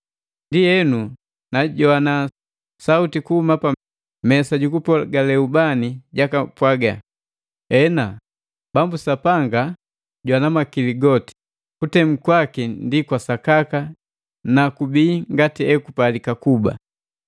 Ndienu, najoana sauti kuhuma pa mesa jukupogale ubani jakapwaga, “Ena, Bambu Sapanga jwana makili goti! Kutemu kwaku ndi kwa sakaka ni jibii ngati ejipalika kuba!”